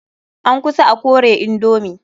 An kusa a kore indomi.